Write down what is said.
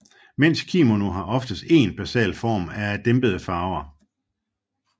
Mænds kimono har oftest én basal form og er af dæmpede farver